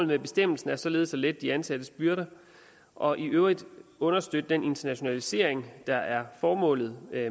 med bestemmelsen er således at lette de ansattes byrder og i øvrigt understøtte den internationalisering der er formålet